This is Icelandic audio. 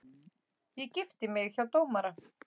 Ég gifti mig hjá dómara.